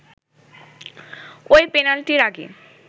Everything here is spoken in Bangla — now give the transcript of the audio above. ওই পেনাল্টির আগে